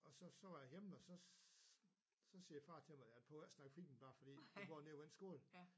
Og så så var jeg hjemme og så så siger far til mig du behøver ikke at snakke fint bare fordi du går nede på den skole